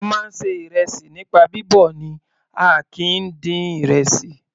A máa ń ṣe ìrẹsì nípa bíbọ̀ ni a kìí dín ìrẹsì.